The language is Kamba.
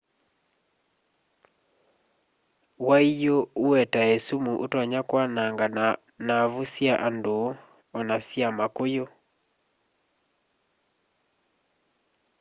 waiyũ ũetae sumu ũtonya kwananga naavu sya andũ ona sya makũyũ